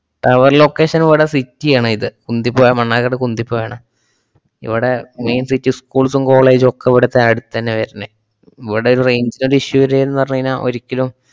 Tower location ഇവിടെ city ആണിത്. കുന്തിപ്പുയ മണ്ണാർക്കാട് കുന്തിപ്പുയാണ്. ഇവിടെ main city schools ഉം college വൊക്കെ ഇവിടത്തെ അടുത്തെന്നെയാ വരണെ. ഇവിടെ ഒരു range ന്‍റെ issue വരേന്നു പറഞ്ഞുകയിഞ്ഞാ ഒരിക്കലും